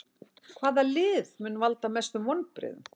Hvaða lið mun valda mestum vonbrigðum?